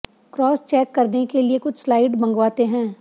cross check करने के लिए कुछ स्लाइड मंगवाते हैं